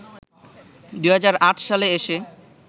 ২০০৮ সালে এসে